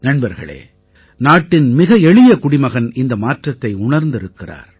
நண்பர்களே நாட்டின் மிக எளிய குடிமகன் இந்த மாற்றத்தை உணர்ந்திருக்கிறார்